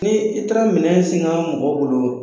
Ni i taara minɛn siŋa mɔgɔ bolo